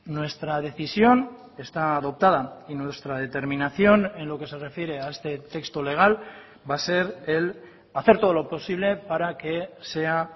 nuestra decisión está adoptada y nuestra determinación en lo que se refiere a este texto legal va a ser el hacer todo lo posible para que sea